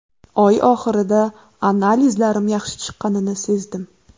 Oy oxirida analizlarim yaxshi chiqqanini sezdim.